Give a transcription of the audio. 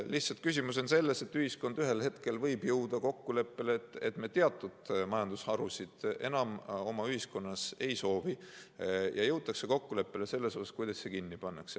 Lihtsalt küsimus on selles, et ühiskond ühel hetkel võib jõuda kokkuleppele, et me teatud majandusharusid enam oma ühiskonnas ei soovi, ja jõutakse ka kokkuleppele selles, kuidas need kinni pannakse.